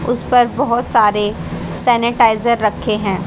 उस पर बहुत सारे सैनिटाइजर रखे हैं।